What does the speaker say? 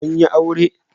An yi aure?